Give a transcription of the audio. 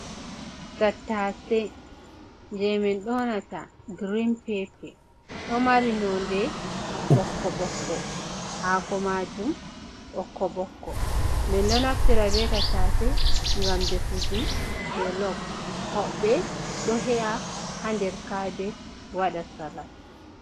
Tattase je min ɗonata girin pepe. Ɗo mari nonde ɓokko-ɓokko, haako maajum ɓokko-ɓokko. Min ɗo naftira be tattase ngam defuki jolop, hoɓɓe ɗo he’a haa nder kabej waɗa salat.